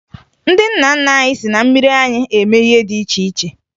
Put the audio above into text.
Ndị nna nna anyị si na mmiri anyịm eme ihe dị iche iche